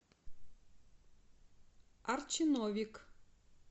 арчи новик